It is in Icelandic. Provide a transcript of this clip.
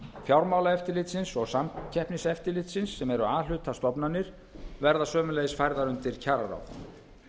fjármálaeftirlitsins og samkeppniseftirlitsins sem eru a hluta stofnanir verða sömuleiðis færðar undir kjararáð